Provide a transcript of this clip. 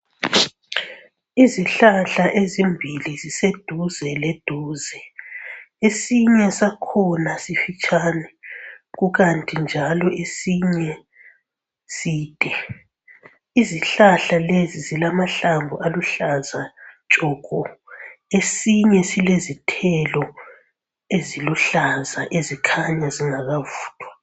Izihlahla ezimbili ziseduze leduze, esinye sakhona sifitshane kukanti njalo esinye side. Izihlahla lezi zilamahlamvu aluhlaza tshoko, esinye silezithelo eziluhlaza ezikhanya zingakavuthwa.